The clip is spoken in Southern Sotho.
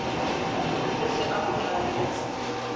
o se a mo qalletse